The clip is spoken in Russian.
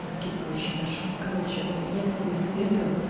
со скидкой очень большой короче вот я тебе советую